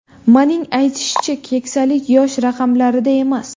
Manning aytishicha, keksalik yosh raqamlarida emas.